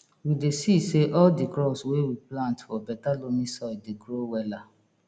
we dey see say all di crops wey we plant for beta loamy soil dey grow wella